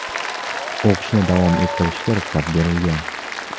o‘qishni davom ettirishga ruxsat berilgan.